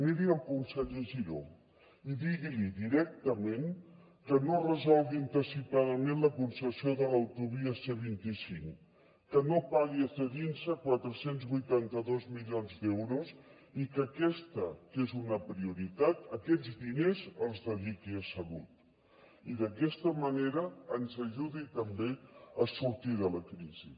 miri el conseller giró i digui li directament que no resolgui anticipadament la concessió de l’autovia c vint cinc que no pagui a cedinsa quatre cents i vuitanta dos milions d’euros i que aquesta que és una prioritat aquests diners els dediqui a salut i d’aquesta manera ens ajudi també a sortir de la crisi